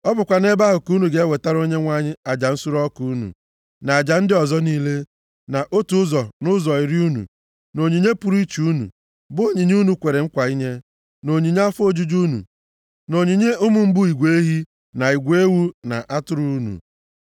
Ọ bụkwa nʼebe ahụ ka unu ga-ewetara Onyenwe anyị aja nsure ọkụ unu, na aja ndị ọzọ niile, na otu ụzọ nʼụzọ iri unu, na onyinye pụrụ iche unu, bụ onyinye unu kwere nkwa inye, na onyinye afọ ofufu unu, na onyinye ụmụ mbụ igwe ehi, na igwe ewu na atụrụ unu.